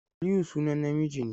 Aliyu sunan namiji ne.